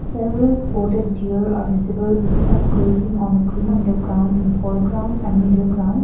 several spotted deer are visible with some grazing on the green on the ground in the foreground and middle ground.